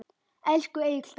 Elsku Egill Daði!